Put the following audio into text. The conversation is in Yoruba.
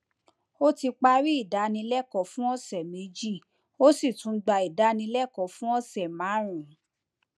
ó ti parí ìdánilẹkọọ fún ọsẹ méjì ó sì tún gba ìdánilẹkọọ fún ọsẹ márùnún